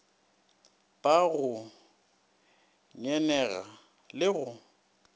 ba go ngenega le go